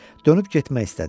Dönüb getmək istədi.